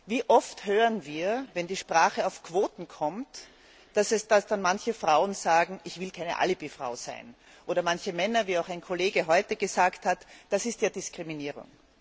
Wie oft hören wir, wenn die Sprache auf Quoten kommt, dass manche Frauen sagen Ich will keine Alibi Frau sein, oder manche Männer, wie auch ein Kollege heute gesagt hat Das ist ja Diskriminierung.